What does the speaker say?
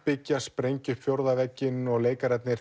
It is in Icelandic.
afbyggja sprengja upp fjórða vegginn leikararnir